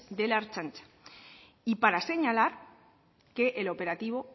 de la ertzaintza y para señalar que el operativo